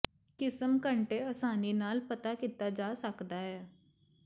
ਕਿਸਮ ਘੰਟੇ ਆਸਾਨੀ ਨਾਲ ਪਤਾ ਕੀਤਾ ਜਾ ਸਕਦਾ ਹੈ